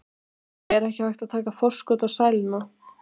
Jói, er ekki hægt að taka forskot á sæluna?